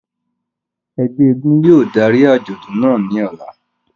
Ẹgbẹ èègún yóò dari ajọdun naa ni ọla.